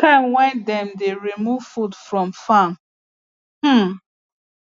time wey dem dey remove food from farm um